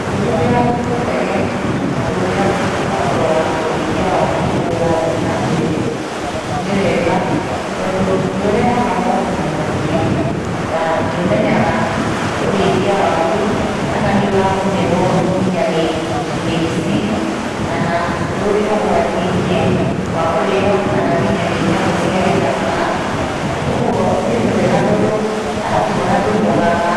Ũkĩhũthĩra tũtege tũrĩa twa kũrora ũrĩithia waku ũrĩa ũrathiĩ nambere, nĩ wega tondũ nĩũrehaga moguni maingĩ, ta nĩũmenyaga ũrithia waku kana nĩũragũmĩrwo kinya nĩ mĩici, kana ũrĩ ũgwati-inĩ wa kũrĩo kana kinya nĩ nyamũ cia gĩthaka, ũguo ona nĩtwega tondũ, alabu ona ndũnogaga